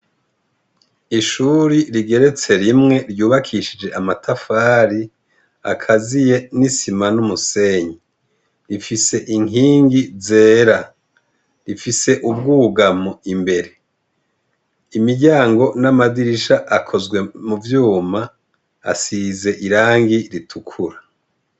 Ishuri rigeretse rimwe ryubakishije amatafari akaziye n' isima n' umusenyi ifise inkingi zera ifise umwugamo imbere imiryango n' amadirisha akozwe mu vyuma asize irangi ritukura.